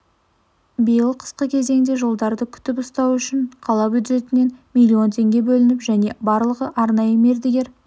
биыл қысқы кезеңде жолдарды күтіп ұстау үшін қала бюджетінен миллион теңге бөлініп және барлығы арнайы мердігер